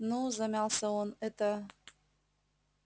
ну замялся он это